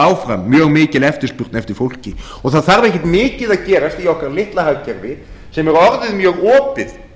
áfram mjög mikil eftirspurn eftir fólki og það þarf ekkert mikið að gerast í okkar mikla hagkerfi sem er orðið mjög opið